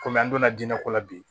Kɔmi an donna jinɛ ko la bi